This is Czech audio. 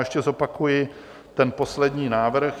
Ještě zopakuji ten poslední návrh.